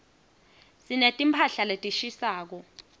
sineti mphahla letishisako